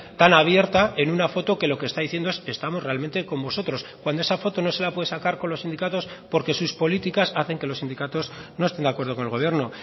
tan abierta en una foto que lo que está diciendo es estamos realmente con vosotros cuando esa foto no se la puede sacar con los sindicatos porque sus políticas hacen que los sindicatos no estén de acuerdo con el gobierno